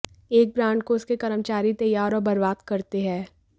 एक ब्रांड को उसके कर्मचारी ही तैयार और बर्बाद करते हैं